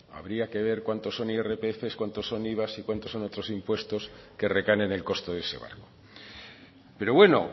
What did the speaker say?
habría que ver cuántos son irpf cuánto son iva y cuánto son otros impuestos que recaen en el coste de ese barco pero bueno